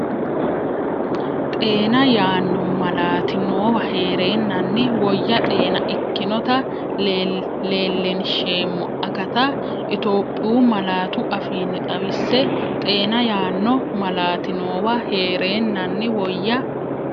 Xeena yaanno malaati noowa heereennanni woyya xeena ikkinota leellinsheemmo akata Itophiyu malaatu afiinni xawisse Xeena yaanno malaati noowa heereennanni woyya.